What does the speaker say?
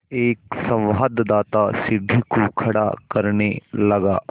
एक संवाददाता सीढ़ी को खड़ा करने लगा